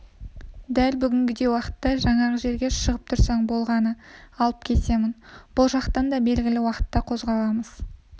дәл бүгінгідей уақытта жаңағы жерге шығып тұрсаң болғаны алып кетемін бұл жақтан да белгілі уақытта қозғаламыз